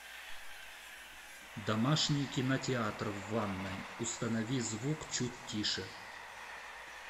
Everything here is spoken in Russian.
домашний кинотеатр в ванной установи звук чуть тише